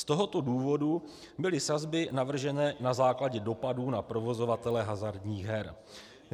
Z tohoto důvodu byly sazby navržené na základě dopadů na provozovatele hazardních her.